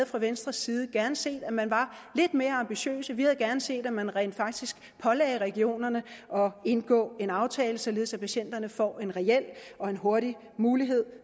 fra venstres side gerne havde set at man var lidt mere ambitiøs vi havde gerne set at man rent faktisk pålagde regionerne at indgå en aftale således at patienterne får en reel og hurtig mulighed